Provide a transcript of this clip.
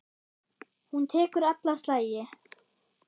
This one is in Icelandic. Hún tekur alla slagi.